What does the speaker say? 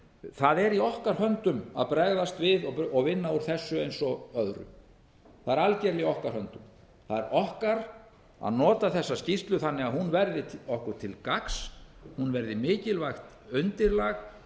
það er í okkar höndum að bregaðst við og vinna úr þessu eins og öðru það er algerlega í okkar höndum það er okkar að nota þessa skýrslu þannig að hún verði okkur til gagns hún verði mikilvægt undirlag